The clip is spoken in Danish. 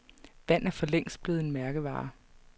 Vand er forlængst blevet en mærkevare.